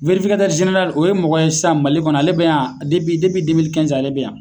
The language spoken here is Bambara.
o ye mɔgɔ san Mali kɔnɔ, ale bi yan ale bɛ yan.